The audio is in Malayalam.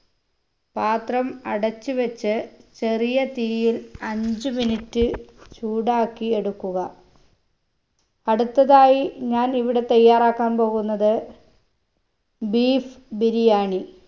പാത്രം അടച്ചു വെച്ച് ചെറിയ തീയിൽ അഞ്ച് minute ചൂടാക്കി എടുക്കുക അടുത്തതായി ഞാൻ ഇവിടെ തയ്യാറാക്കാൻ പോകുന്നത് beef ബിരിയാണി